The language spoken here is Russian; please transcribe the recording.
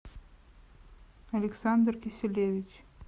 александр киселевич